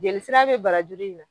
Jeli sira be barajuru in na